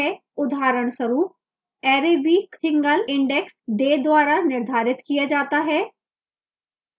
उदाहरणस्वरूप array week single index day द्वारा निर्धारित किया जाता है